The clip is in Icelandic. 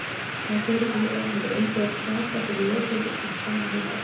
Það fyrirkomulag hefur innbyggðan hvata fyrir notendur til að spara heita vatnið.